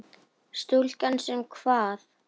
Stúlka sem kvað.